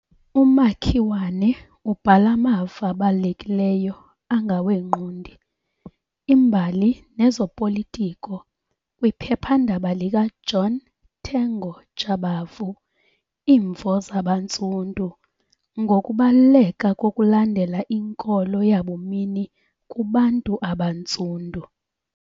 UMakiwane ubhala amavo abalulekileyo angabongqondi, imbali nezopolitiko kwiphephandaba likaJohn Tengo Jabavu Imvo Zabantsundu ngokubaluleka kokulandela inkolo yabumini kubantu abaNtsundu.